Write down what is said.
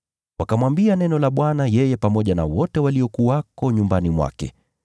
Wakamwambia neno la Bwana yeye pamoja na wote waliokuwako nyumbani mwake.